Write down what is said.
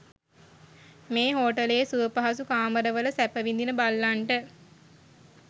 මේ හෝටලයේ සුවපහසු කාමරවල සැප විඳින බල්ලන්ට